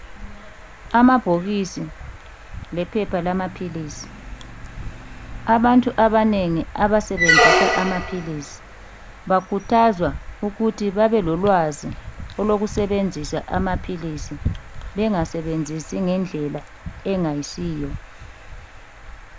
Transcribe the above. Amabhokisi lephepha lamaphilisi. Abantu abanengi abasebenzisa amaphilisi bakhuthazwa ukuthi babe lolwazi olokusebenzisa amaphilisi bengasebenzisi ngendlela engayisiyo.